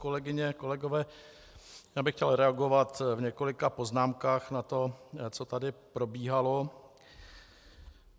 Kolegyně, kolegové, já bych chtěl reagovat v několika poznámkách na to, co tady probíhalo.